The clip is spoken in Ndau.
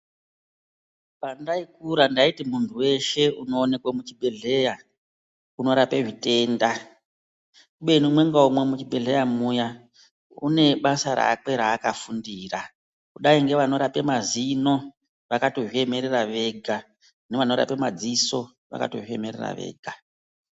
Pandaikura ndaiti munhu weshe unoonekwe muzvibhedhleya unorape zvitenda kubeni umwe ngaumwe muzvibhedhleya muya kune basa rakwe raaka fundira, kudai nevanorape mazino, vakatozviemerera vega nevanorape madziso vakatozviemerera vega.